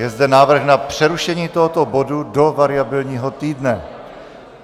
Je zde návrh na přerušení tohoto bodu do variabilního týdne.